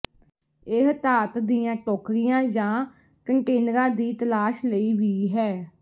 ਇਹ ਧਾਤ ਦੀਆਂ ਟੋਕਰੀਆਂ ਜਾਂ ਕੰਟੇਨਰਾਂ ਦੀ ਤਲਾਸ਼ ਲਈ ਵੀ ਹੈ